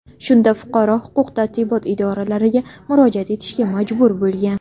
Shunda fuqaro huquq-tartibot idoralariga murojaat etishga majbur bo‘lgan.